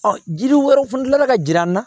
Ɔ jiri wɛrɛw fana ka jira an na